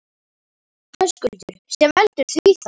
Höskuldur: Sem veldur því þá?